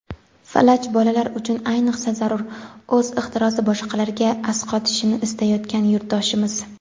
"Falaj bolalar uchun ayniqsa zarur" — o‘z ixtirosi boshqalarga asqotishini istayotgan yurtdoshimiz.